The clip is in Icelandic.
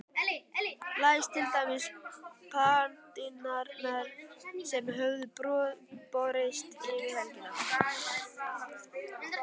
Lesa til dæmis pantanirnar sem höfðu borist yfir helgina.